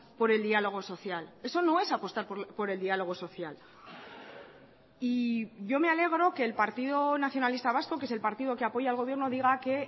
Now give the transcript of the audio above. por el diálogo social eso no es apostar por el diálogo social y yo me alegro que el partido nacionalista vasco que es el partido que apoya al gobierno diga que